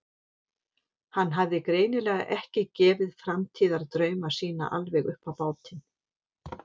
Hann hafði greinilega ekki gefið framtíðardrauma sína alveg upp á bátinn.